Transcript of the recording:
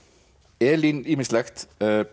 Elín ýmislegt